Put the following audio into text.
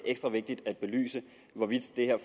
ekstra vigtigt at belyse hvorvidt det her